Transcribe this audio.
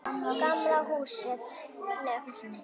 Gamla húsinu.